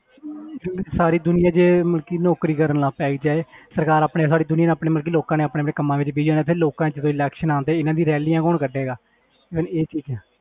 ਕਿਉਂਕਿ ਸਾਰੀ ਦੁਨੀਆਂ ਜੇ ਮਤਲਬ ਕਿ ਨੌਕਰੀ ਕਰਨ ਲੱਗ ਪੈ ਜਾਏ ਸਰਕਾਰ ਆਪਣੀ ਸਾਰੀ ਦੁਨੀਆਂ ਨੇ ਆਪਣੀ ਮਤਲਬ ਕਿ ਲੋਕਾਂ ਨੇ ਆਪਣੇ ਆਪਣੇ ਕੰਮਾਂ ਵਿੱਚ busy ਹੋ ਜਾਣਾ ਫਿਰ ਲੋਕਾਂ 'ਚ ਜਦੋਂ election ਆਉਂਦੇ ਇਹਨਾਂ ਦੀਆਂ rallies ਕੌਣ ਕੱਢੇਗਾ ਮਤਲਬ ਇਹ ਚੀਜ਼ਾਂ।